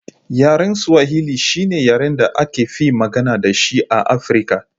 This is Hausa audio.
Yaren Swahili shine yaren da aka fi magana da shi a Afirka